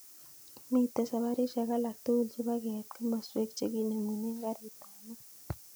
Miten saparishek alak tugul chebo keit komaswek chekinemunen garit tab maat